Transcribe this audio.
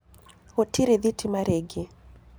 Gũtĩrĩ thĩtĩma rĩngĩ.